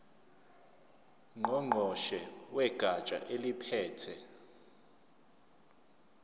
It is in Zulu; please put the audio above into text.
ngqongqoshe wegatsha eliphethe